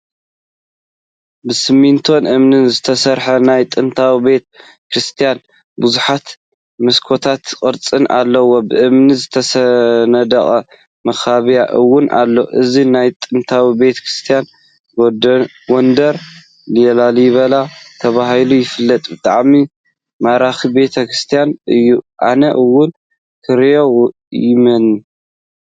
ብስሚንቶን እምኒን ዝተሰርሐ ናይ ጥንቲ ቤተ ክርስትያን ቡዙሓት መሳኩትን ቅርፂን አለዎ፡፡ ብእምኒ ዝተነደቀ መካበብያ እውን አሎ፡፡ እዚ ናይ ጥንቲ ቤተ ክርስትያን ጎንደር ላሊቨላ ተባሂሉ ይፍለጥ፡፡ ብጣዕሚ ማራኪ ቤተ ክርስትያን እዩ፡፡ አነ’ውን ንክሪኦ ይምነ፡፡